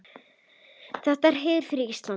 Þetta er heiður fyrir Ísland.